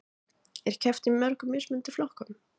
Er keppt í mörgum mismunandi flokkum